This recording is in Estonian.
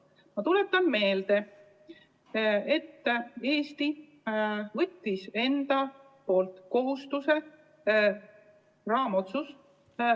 Ma tuletan meelde, et Eesti võttis endale kohustuse võtta vastu Euroopa Liidu raamotsus.